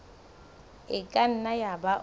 e ka nna yaba o